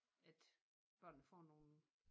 At børnene får nogle